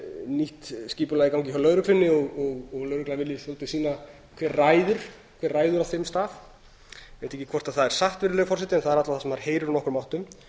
nýtt skipulag í gangi hjá lögreglunni og lögreglan vilji svolítið sýna hver ræður á þeim stað ég veit ekki hvort það er satt virðulegur forseti en það er alla vega það sem maður heyrir úr öllum áttum